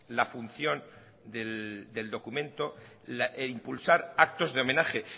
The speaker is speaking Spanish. la función del documento impulsar actos de homenaje